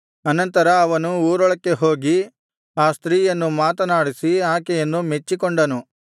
ಅನಂತರ ಅವನು ಊರೊಳಗೆ ಹೋಗಿ ಆ ಸ್ತ್ರೀಯನ್ನು ಮಾತನಾಡಿಸಿ ಆಕೆಯನ್ನು ಮೆಚ್ಚಿಕೊಂಡನು